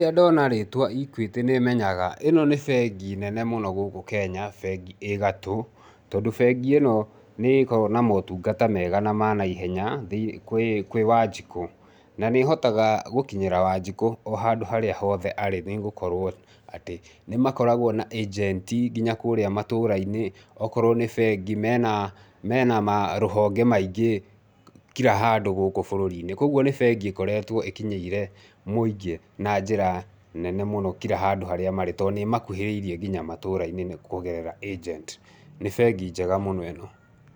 Rĩrĩa ndona rĩtwa EQUITY nĩ menyaga ĩno nĩ bengi nene mũno gũkũ Kenya, bengi ĩ gatũ, tondũ bengi ĩno nĩ ĩkoragwo na motungata mega na manaihenya kwĩ kwĩ Wanjikũ, na nĩ ĩhotaga gũkinyĩra Wanjikũ o handũ harĩa hothe arĩ nĩ gukorwo, atĩ, nĩ makoragwo na agent, nginya kũrĩa matũra-inĩ. Okorwo ni bengi, mena mena marũhonge maingĩ kira handũ gukũ bũrũri-inĩ kũoguo nĩ bengi ikoretwo ĩkinyĩire mũingĩ, na njĩra nene mũno kira handũ harĩa marĩ to nĩ ĩmakuhĩrĩirie nginya matũra-inĩ kũgerera agent, ni bengi njega mũno ĩno.